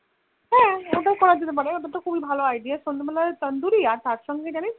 হ্যান ওটাও করা যেতে পারে ওটা তো খুব্বি ভালো Idea সন্ধে বেলা Tandoori আর তার সঙ্গে জানিস তো